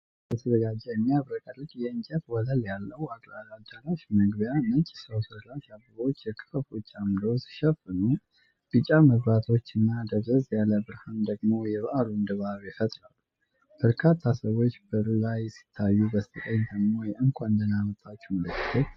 ለሠርግ የተዘጋጀ የሚያብረቀርቅ የእንጨት ወለል ያለው አዳራሽ መግቢያ ። ነጭ ሰው ሠራሽ አበባዎች የክፈፎቹን አምዶች ሲሸፍኑ፣ ቢጫ መብራቶችና ደብዘዝ ያለ ብርሃን ደግሞ የበዓሉን ድባብ ይፈጥራሉ። በርካታ ሰዎች በሩላይ ሲታዩ በስተቀኝ ደግሞ የእንኳን ደህና መጣችሁ ምልክት።